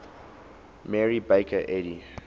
mary baker eddy